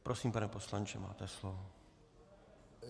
Prosím, pane poslanče, máte slovo.